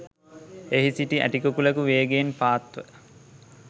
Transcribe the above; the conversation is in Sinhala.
එහි සිටි ඇටිකුකුළෙකු වේගයෙන් පාත් ව